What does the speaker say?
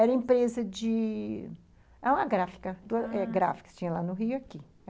Era empresa de... Era uma gráfica, ah... duas gráficas que tinha lá no Rio e aqui.